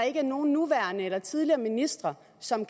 ikke er nogen nuværende eller tidligere ministre som